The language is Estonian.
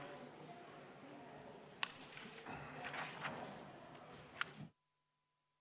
Istungi lõpp kell 18.08.